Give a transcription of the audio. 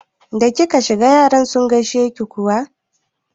Da kika shiga yaran sun gaishe ki kuwa?